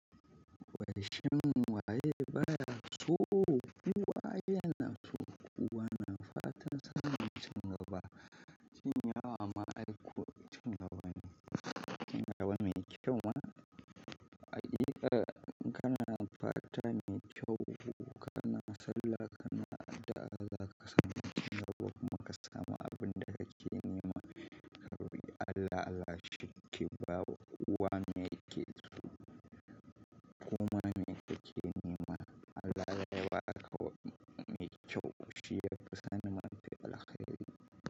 Wai shin waye baya so, kowa yana so kowa na fatansa ne, tun ga ba cin yawa ma'aiku tun ga wane tun ga wane kyau ma. A idan kana fata mai kyau ko kana sallah kana addu'a za ka samu cingaba ko kuma ka samu abin da kake nema. Ka bi Allah, Allah shike ba wa kowa me yake so koma me yake nema Allah yana alkawari me kyau. Shiyafi sanin mafi alkhairi.